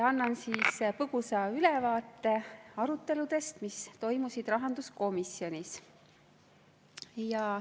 Annan põgusa ülevaate aruteludest, mis toimusid rahanduskomisjonis.